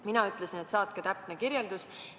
Mina ütlesin, et saatke täpne kirjeldus.